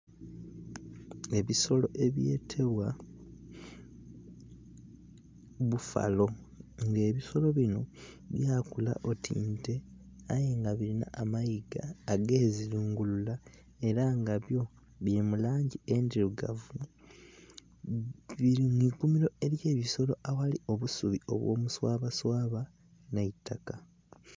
Ebisolo ebyetebwa bbufalo nga ebisolo bino byakula oti nte aye nga birina amayiga agezingulula era nga byo biri mulangi endhirugavu, biri mwiikumiro elye bisolo aghali obusubi obw'omuswabaswaba n'eitaka.